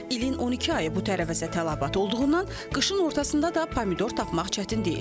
İlin 12 ayı bu tərəvəzə tələbat olduğundan qışın ortasında da pomidor tapmaq çətin deyil.